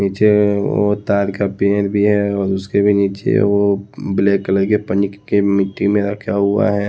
पीछे वो ताड़ का पेड़ भी है और उसके भी नीचे है वो ब्लैक कलर के पन्नी क के मिट्टी में रखा हुआ है।